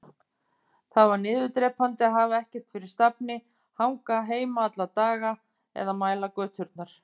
Það var niðurdrepandi að hafa ekkert fyrir stafni, hanga heima alla daga eða mæla göturnar.